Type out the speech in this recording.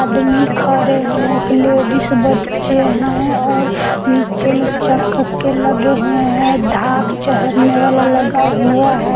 आदमी खरे हैं एक लेडिस बच्चे हैं और नीचे में चक्क के लगे हुए हैं ढाप चहड़ने वाला लगा हुआ है।